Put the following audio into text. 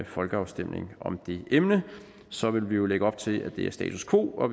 folkeafstemning om det emne så vil vi jo lægge op til at det er status quo og